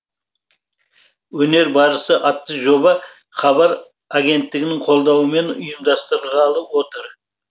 өнер барысы атты жоба хабар агенттігінің қолдауымен ұйымдастырылғалы отыр